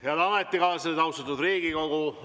Head ametikaaslased, austatud Riigikogu!